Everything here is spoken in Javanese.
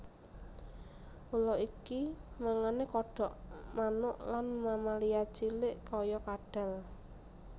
Ula iki mangane kodhok manuk lan mamalia cilik kaya kadhal